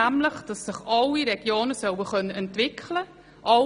Alle Regionen sollen sich entwickeln können.